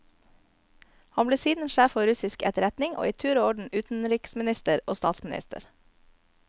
Han ble siden sjef for russisk etterretning, og i tur og orden utenriksminister og statsminister.